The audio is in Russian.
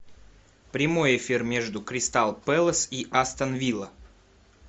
прямой эфир между кристал пэлас и астон вилла